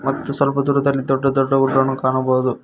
ಮತ್ತು ಸ್ವಲ್ಪ ದೂರದಲ್ಲಿ ದೊಡ್ಡ ದೊಡ್ಡ ಊರುಗಳನ್ನು ಕಾಣಬಹುದು.